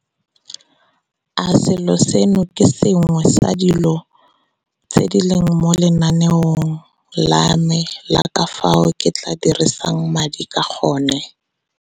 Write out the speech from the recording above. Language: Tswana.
A selo seno ke se sengwe sa dilo tse di leng mo lenaneong la me la ka fao ke tla dirisang madi ka gone?